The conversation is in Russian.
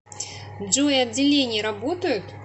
джой отделения работают